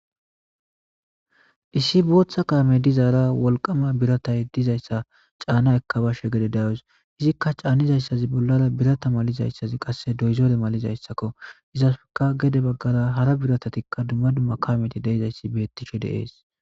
Issi boththa kaamey dizara wolqqama biirattay dizayssa caanna eekka bashshe gedde dawus izikka caannizaysazii bollara biirata malizayssazii qase doozore mallizayssakko izakka gedde baggara hara biratatikka hara kaamezi de'izayssi bettishe de'es